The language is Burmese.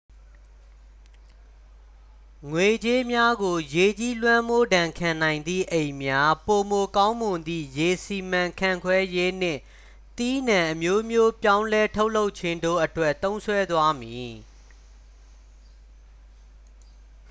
ငွေကြေးများကို ရေကြီးလွှမ်းမိုးဒဏ်ခံနိုင်သည့် အိမ်များ ပိုမိုကောင်းမွန်သည့် ရေစီမံခန့်ခွဲရေးနှင့် သီးနှံအမျိုးမျိုးပြောင်းလဲထုတ်လုပ်ခြင်းတို့အတွက် သုံးစွဲသွားမည်